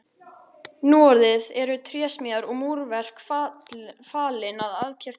Núorðið eru trésmíðar og múrverk falin aðkeyptu vinnuafli.